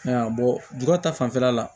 jukɔrɔ ta fanfɛla la